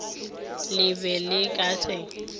le be le ka se